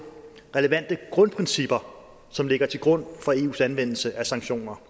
relevante grundprincipper som ligger til grund for eus anvendelse af sanktioner